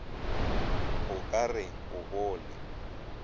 o ka re o bone